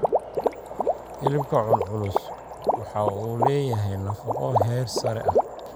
Hilibka culculus waxa uu leeyahay nafaqo heer sare ah.